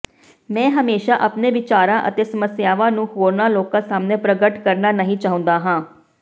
ਮੈਂ ਹਮੇਸ਼ਾ ਆਪਣੇ ਵਿਚਾਰਾਂ ਅਤੇ ਸਮੱਸਿਆਵਾਂ ਨੂੰ ਹੋਰਨਾਂ ਲੋਕਾਂ ਸਾਹਮਣੇ ਪ੍ਰਗਟ ਕਰਨਾ ਨਹੀਂ ਚਾਹੁੰਦਾ ਹਾਂ